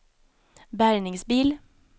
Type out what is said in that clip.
bärgningsbil